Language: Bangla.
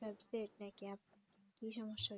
subject নিয়ে আপনার কি সমস্যা